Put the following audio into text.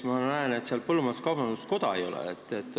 Ma näen, et põllumajandus-kaubanduskoda seal hulgas ei ole.